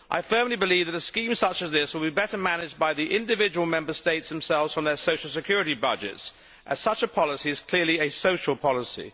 I firmly believe that a scheme such as this would be better managed by the individual Member States themselves from their social security budgets, as such a policy is clearly a social policy.